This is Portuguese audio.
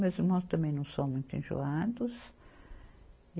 Meus irmãos também não são muito enjoados.